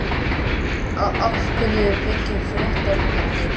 Á hverju byggir fréttamatið?